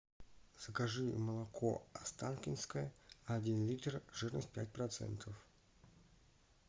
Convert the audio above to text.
закажи молоко останкинское один литр жирность пять процентов